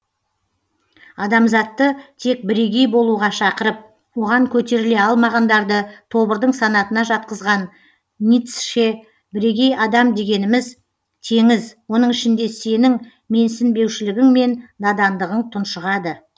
адамзатты тек бірегеи болуға шақырып оған көтеріле алмағандарды тобырдың санатына жатқызаған ницще бірегей адам дегеніміз теңіз оның ішінде сенің менсінбеушілігің мен надандығың тұншығады